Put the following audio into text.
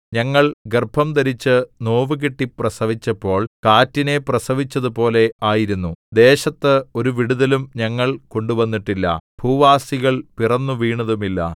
ഞങ്ങൾ ഗർഭംധരിച്ചു നോവുകിട്ടി പ്രസവിച്ചപ്പോൾ കാറ്റിനെ പ്രസവിച്ചതുപോലെ ആയിരുന്നു ദേശത്ത് ഒരു വിടുതലും ഞങ്ങൾ കൊണ്ടുവന്നിട്ടില്ല ഭൂവാസികൾ പിറന്നുവീണതുമില്ല